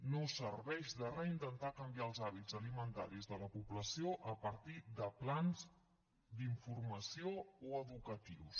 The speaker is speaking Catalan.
no serveix de re intentar canviar els hàbits alimentaris de la població a partir de plans d’informació o educatius